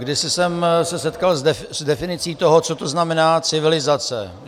Kdysi jsem se setkal s definicí toho, co to znamená civilizace.